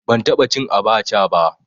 Ban taɓa cin abaca ba